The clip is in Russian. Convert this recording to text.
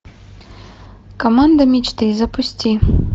команда мечты запусти